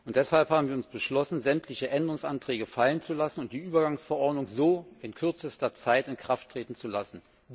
Deshalb haben wir beschlossen, sämtliche Änderungsanträge fallen zu lassen und so die Übergangsverordnung in kürzester Zeit in Kraft treten zu lassen.